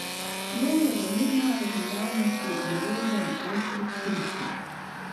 Lov je v mednarodni javnosti deležen ostrih kritik.